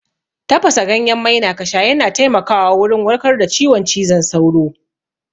Tafasa ganyen maina kasha yana taimaka wa wurin warkar da ciwon cizon sauro